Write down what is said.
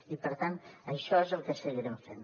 i per tant això és el que seguirem fent